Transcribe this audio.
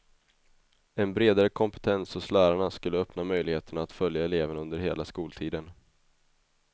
En bredare kompetens hos lärarna skulle öppna möjligheterna att följa eleverna under hela skoltiden.